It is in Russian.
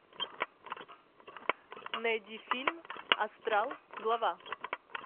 найди фильм астрал глава